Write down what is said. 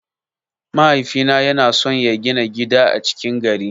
Mahaifina yana son ya gina gida a cikin gari.